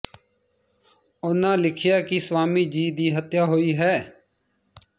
ਉਹਨਾਂ ਲਿਖਿਆ ਕਿ ਸਵਾਮੀ ਜੀ ਦੀ ਹੱਤਿਆ ਹੋਈ ਹੈ